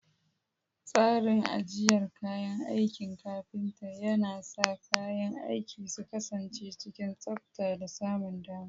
Tsarin ajiyar kayan aikin kafinta yana sa kayan aiki su kasance cikin tsabta da samun dama.